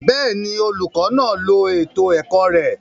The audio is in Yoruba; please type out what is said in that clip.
Bẹẹni, olukọ naa lo eto ẹkọ rẹ